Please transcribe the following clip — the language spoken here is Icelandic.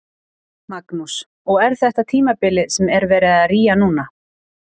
Magnús: Og er þetta tímabilið sem er verið að rýja núna?